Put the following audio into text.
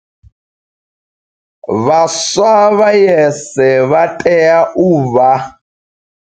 Vhaswa vha YES vha tea u vha.